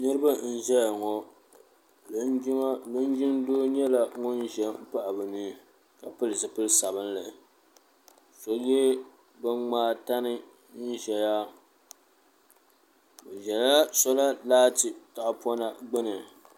Niriba n ʒɛya ŋɔ linjin doo nyɛla ŋun ʒɛn m pahi bɛ ni ka pili zipil'sabinli so ye binŋmaa tani n zaya o zala sola laati tahapona gbini.